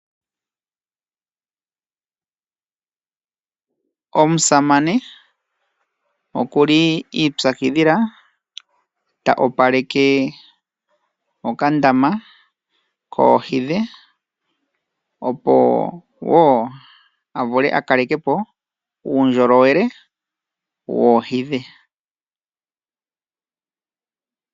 Omusamane oku li ipyakidhila ta opaleke okandama koohi dhe, opo a vule a kaleke po uundjolowele woohi dhe.